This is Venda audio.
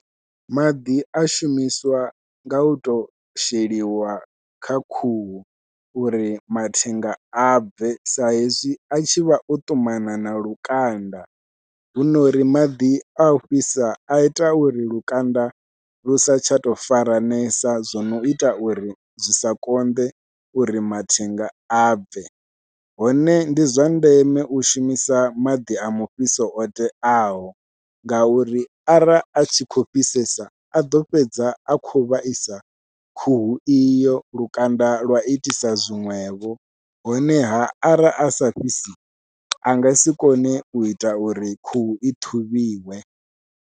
Maḓi a shumiswa nga u to sheliwa kha khuhu, uri mathenga a bve sa hezwi a tshi vha o ṱumana na lukanda huno uri maḓi a u fhisa a ita uri lukanda lu sa tsha tou faranesa zwo no ita uri zwi sa konḓe uri mathenga a bve, hone ndi zwa ndeme u shumisa maḓi a mufhiso o teaho ngauri arali a tshi khou fhisesa a ḓo fhedza a khou vhaisa khuhu iyo lukanda lwa itisa zwiṅwevho, honeha arali a sa fhisi a nga si kone u ita uri khuhu i ṱhuvhiwe.